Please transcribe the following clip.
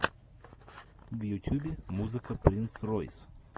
в ютюбе музыка принц ройс